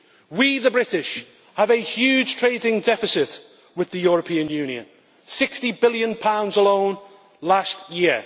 We, the British, have a huge trading deficit with the European Union GBP 60 billion alone last year.